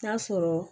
N'a sɔrɔ